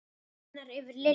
Það lifnaði yfir Lillu.